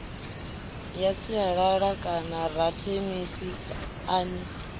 ya sialala kanarakhemisi a ni